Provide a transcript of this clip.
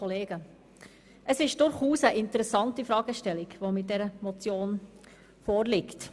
Es ist durchaus eine interessante Fragestellung, die mit dieser Motion vorliegt.